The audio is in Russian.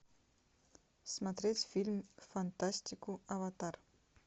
смотреть фильм фантастику аватар